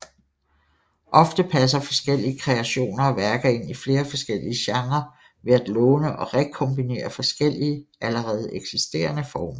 Ofte passer forskellige kreationer og værker ind i flere forskellige genrer ved at låne og rekombinerer forskellige allerede eksisterende former